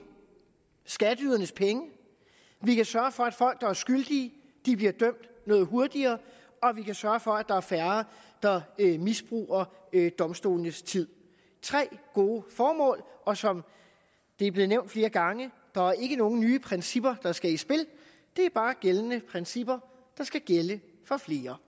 skatteydernes penge vi kan sørge for at folk der er skyldige bliver dømt noget hurtigere og vi kan sørge for at der er færre der misbruger domstolenes tid tre gode formål og som det er blevet nævnt flere gange der er ikke nogen nye principper der skal i spil det er bare gældende principper der skal gælde for flere